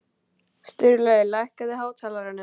Sturlaugur, lækkaðu í hátalaranum.